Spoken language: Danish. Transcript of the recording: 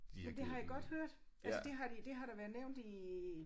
Ja det har jeg godt hørt altså det har de det har der været nævnt i